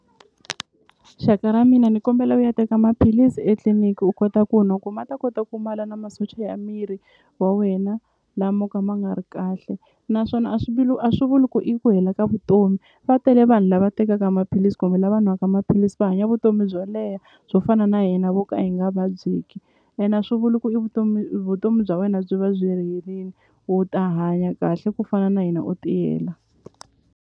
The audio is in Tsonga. Xaka ra mina ndzi kombela u ya teka maphilisi etliliniki u kota ku nwa ku ma ta kota ku na masocha ya miri wa wena la mo ka ma nga ri kahle naswona a swi a swi vuli ku i ku hela ka vutomi va tele vanhu lava tekaka maphilisi kumbe lava n'waka maphilisi va hanya vutomi byo leha byo fana na hina vo ka hi nga vabyeki ene a swi vuli ku i vutomi vutomi bya wena byi va byi herini u ta hanya kahle ku fana na hina u tiyela.